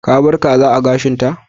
Ka bar kaza a gashin ta?